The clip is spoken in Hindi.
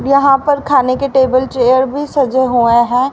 यहां पर खाने के टेबल चेयर भी सजे हुए हैं।